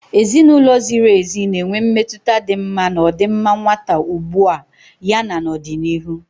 Ezinụlọ ziri ezi na-enwe mmetụta dị mma na ọdịmma nwata ugbu a ya na n'ọdịnihu.